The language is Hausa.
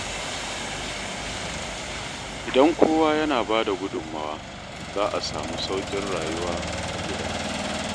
Idan kowa yana ba da gudunmawa, za a samu sauƙin rayuwa a gida.